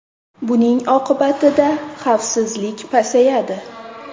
Buning oqibatida xavfsizlik pasayadi.